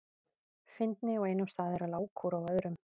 Fyndni á einum stað er lágkúra á öðrum.